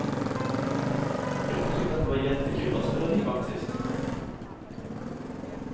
Jag tyckte att det var jättekul att spela livvakt sist.